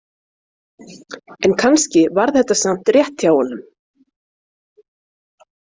En kannski var þetta samt rétt hjá honum.